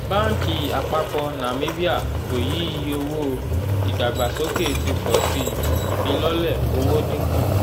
báńkì àpapọ̀ nàmíbíà kò yí iye owó ìdàgbàsókè ti pọ̀ sí i ìfilọ́lẹ̀ owó dín kù